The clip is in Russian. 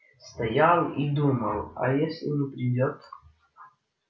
стоял и думал а если не придёт